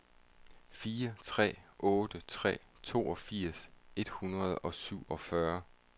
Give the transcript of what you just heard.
fire tre otte tre toogfirs et hundrede og syvogfyrre